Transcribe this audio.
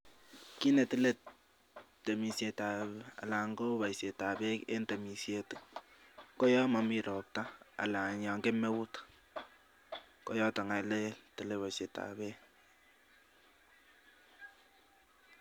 Kit ne tile boisietab beek en temishet ko yonmomi ropta anan yon kemeut. Ko yoton ele tile boisietab beek.